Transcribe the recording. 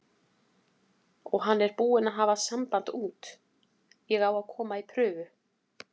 Og hann er búinn að hafa samband út, ég á að koma í prufu.